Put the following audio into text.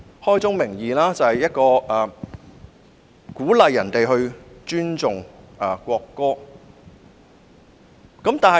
開宗明義，《條例草案》鼓勵大家尊重國歌。